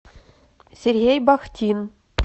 сергей бахтин